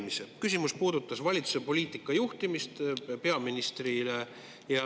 Minu küsimus peaministrile puudutas valitsuse poliitika juhtimist.